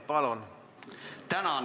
Palun!